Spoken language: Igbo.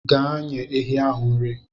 Gaa nye ehi ahụ nri.